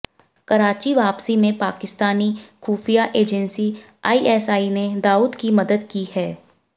कराची वापसी में पाकिस्तानी खुफिया एजेंसी आइएसआइ ने दाऊद की मदद की है